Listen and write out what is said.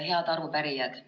Head arupärijad!